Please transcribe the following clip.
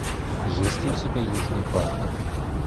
есть ли у тебя южный парк